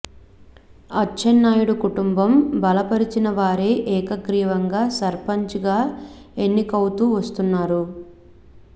అచ్చెన్నాయుడు కుటుంబం బలపరిచిన వారే ఏకగ్రీవంగా సర్పంచ్ గా ఎన్నికవుతూ వస్తున్నారు